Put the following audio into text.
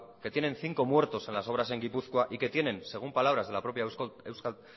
que tienen cinco muertos en las obras en gipuzkoa y que tienen según palabras de la propia euskal